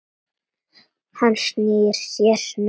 Hann snýr sér snöggt við.